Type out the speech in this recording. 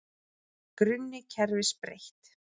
Grunni kerfis breytt